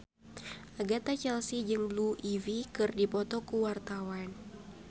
Agatha Chelsea jeung Blue Ivy keur dipoto ku wartawan